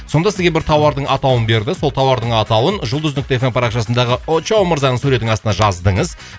сонда сізге бір тауардың атауын берді сол тауардың атауын жұлдыз нүкте эф эм парақшасындағы очоу мырзаның суретінің астына жаздыңыз